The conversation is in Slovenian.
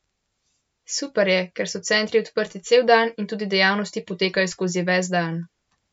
Super je, ker so centri odprti cel dan in tudi dejavnosti potekajo skozi ves dan.